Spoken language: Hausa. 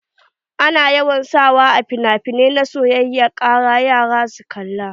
Ana yawan sa wa a finafinai na soyayya kara yara su kalla.